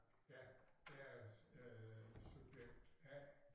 Ja jeg er øh subjekt A